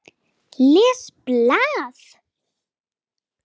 Les blað.